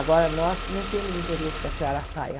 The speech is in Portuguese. Agora, nós não temos interesse que a senhora saia.